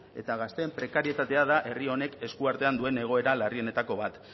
eta gazteen prekarietatea da herri honek eskuartean duen egoera larrienetako bat